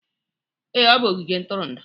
Ee, ọ bụ ogige ntụrụndụ